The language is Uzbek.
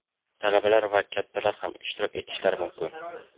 talabalar va kattalar ham ishtirok etishlari mumkin.